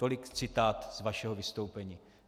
Tolik citát z vašeho vystoupení.